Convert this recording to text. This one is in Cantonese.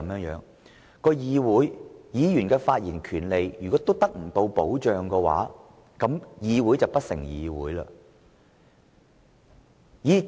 如果議員在議會內發言的權利亦不受保障，那麼議會便不成議會了。